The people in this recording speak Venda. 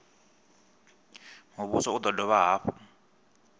muvhuso u do dovha hafhu